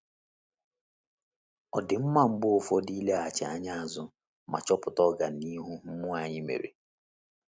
Ọ dị mma mgbe ụfọdụ ileghachi anya azụ ma chọpụta ọganihu mmụọ anyị mere.